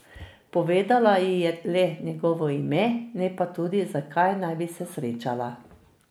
Povedala ji je le njegovo ime, ne pa tudi, zakaj naj bi se srečala.